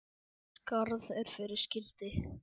Skarð er fyrir skildi.